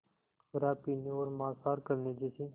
शराब पीने और मांसाहार करने जैसे